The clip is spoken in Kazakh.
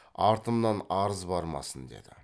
артымнан арыз бармасын деді